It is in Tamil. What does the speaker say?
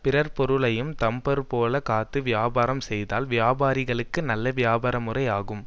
பிறர் பொருளையும் தம் பொருள் போலக் காத்து வியாபாரம் செய்தால் வியாபாரிகளுக்கு நல்ல வியாபார முறை ஆகும்